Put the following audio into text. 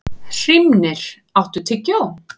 Hrímnir, áttu tyggjó?